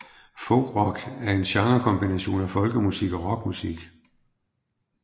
Folkrock er en genrekombination af folkemusik og rockmusik